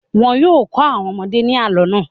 Wọn yóò kọ́ àwọn ọmọdé ní àlọ́ náà.